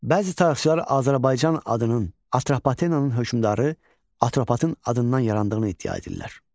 Bəzi tarixçilər Azərbaycan adının Atropatenanın hökmdarı Atropatın adından yarandığını iddia edirlər.